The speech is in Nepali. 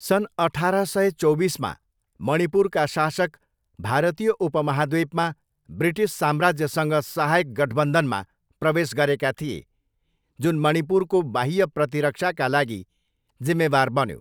सन् अठार सय चौबिसमा मणिपुरका शासक भारतीय उपमहाद्वीपमा ब्रिटिस साम्राज्यसँग सहायक गठबन्धनमा प्रवेश गरेका थिए, जुन मणिपुरको बाह्य प्रतिरक्षाका लागि जिम्मेवार बन्यो।